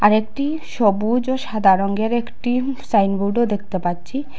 আর একটি সবুজ ও সাদা রঙ্গের একটি সাইনবোর্ডও দেখতে পাচ্ছি।